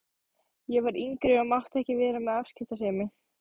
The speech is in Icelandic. Ég var yngri og mátti ekki vera með afskiptasemi.